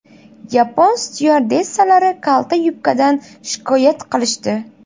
Yapon styuardessalari kalta yubkadan shikoyat qilishdi.